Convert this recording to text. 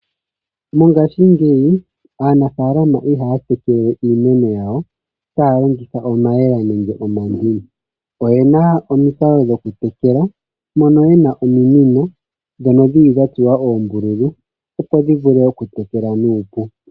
Mongashingeyi aanafalama ihaya tekele we iimeno yawo taya longitha omayemele nenge omandini. Oyena omikalo dhokutekela mono yena ominino dha tsuwa uumbululu dhi vule okutekela nuupu.